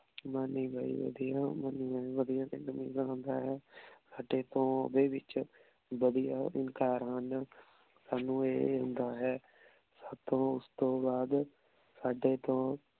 Money ਭਾਈ ਵਾਦਿਯ ਸਾਡੇ ਤੋਂ ਓਡੀ ਵਚ ਵਾਦਿਯ ਗੁਲਕਰ ਹਨ ਸਾਨੂ ਇਹ ਹੁੰਦਾ ਹੈ। ਸਾਥੋਂ ਓਸ ਤੋਂ ਬਾਅਦ ਸਾਡੇ ਤੋਂ